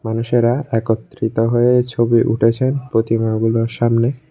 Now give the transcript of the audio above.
মানুষেরা একত্রিত হয়ে ছবি উঠাইছে প্রতিমাগুলোর সামনে।